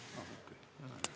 Kas ma olen õigesti aru saanud?